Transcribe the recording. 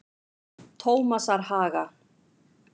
Tómasarhaga